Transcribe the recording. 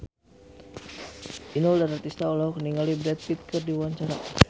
Inul Daratista olohok ningali Brad Pitt keur diwawancara